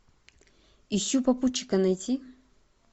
ищу попутчика найти